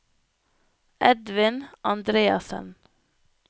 Edvin Andreassen